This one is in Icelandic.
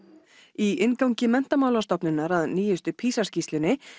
í inngangi Menntamálastofnunar að nýjustu PISA skýrslunni